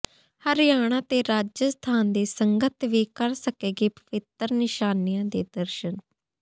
ਹਰਿਆਣਾ ਤੇ ਰਾਜਸਥਾਨ ਦੀ ਸੰਗਤ ਵੀ ਕਰ ਸਕੇਗੀ ਪਵਿੱਤਰ ਨਿਸ਼ਾਨੀਆਂ ਦੇ ਦਰਸ਼ਨ